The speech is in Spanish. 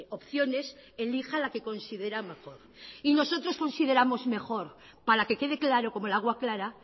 opciones elija la que considera mejor y nosotros consideramos mejor para que quede claro como el agua clara